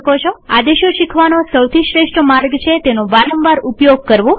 આદેશો શીખવાનો સૌથી શ્રેષ્ઠ માર્ગ છે તેનો વારંવાર ઉપયોગ કરવો